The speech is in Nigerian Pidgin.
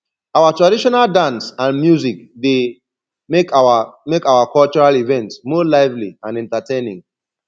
our traditional dance and music dey make our make our cultural events more lively and entertaining